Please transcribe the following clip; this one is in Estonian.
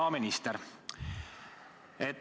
Hea minister!